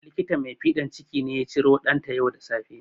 Likita mai fiɗan ciki ne ya ciromata ɗanta yau da safe